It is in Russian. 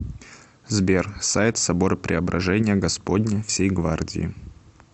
сбер сайт собор преображения господня всей гвардии